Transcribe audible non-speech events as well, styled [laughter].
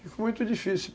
[unintelligible] muito difícil.